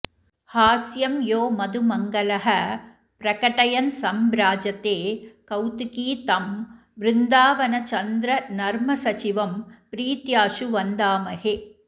हास्यं यो मधुमङ्गलः प्रकटयन्सम्भ्राजते कौतुकी तं वृन्दावनचन्द्रनर्मसचिवं प्रीत्याशु वन्दामहे